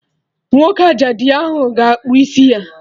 Nwoke ajadu ahụ ga-akpụ isi ya!